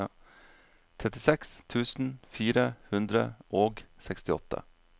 trettiseks tusen fire hundre og sekstiåtte